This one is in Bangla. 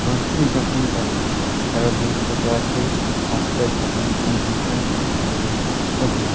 রাত্রি যাপন করে তারা দূর থেকে আসে আস্তাই স্থাপন এর জন্য এসমস্ত করে ওঠে |